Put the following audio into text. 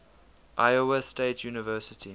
iowa state university